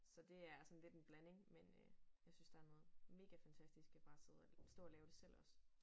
Så det er sådan lidt en blanding men øh jeg synes der er noget mega fantastisk ved bare at sidde og stå og lave det selv også